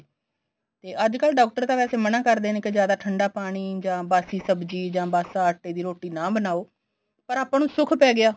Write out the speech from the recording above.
ਤੇ ਅੱਜਕਲ doctor ਤਾਂ ਵੈਸੇ ਮਨਾ ਕਰਦੇ ਨੇ ਕੇ ਜਿਆਦਾ ਠੰਡਾ ਪਾਣੀ ਜਾਂ ਬਾਸੀ ਸਬਜੀ ਜਾਂ ਬਾਸੀ ਆਟੇ ਦੀ ਰੋਟੀ ਆ ਬਣਾਉ ਪਰ ਆਪਾਂ ਨੂੰ ਸੁੱਖ ਪੈ ਗਿਆ